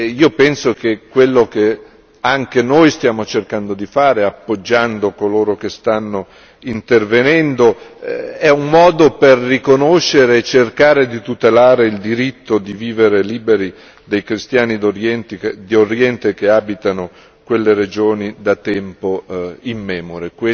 Io penso che quello che anche noi stiamo cercando di fare, appoggiando coloro che stanno intervenendo, è un modo per riconoscere e cercare di tutelare il diritto di vivere liberi dei cristiani d'Oriente che abitano quelle regioni da tempo immemore.